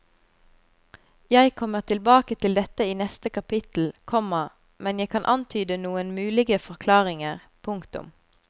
Jeg kommer tilbake til dette i neste kapittel, komma men jeg kan antyde noen mulige forklaringer. punktum